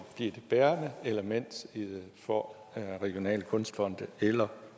det bærende element for regionale kunstfonde eller